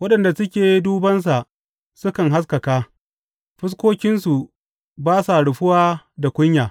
Waɗanda suke dubansa sukan haskaka; fuskokinsu ba sa rufuwa da kunya.